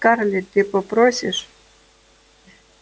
скарлетт ты попросишь